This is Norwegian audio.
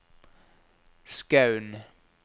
Skaun